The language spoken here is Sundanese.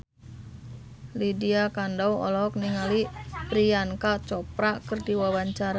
Lydia Kandou olohok ningali Priyanka Chopra keur diwawancara